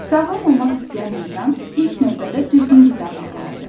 Sağlam olmaq istəyən insan ilk növbədə düzgün qidalanmalıdır.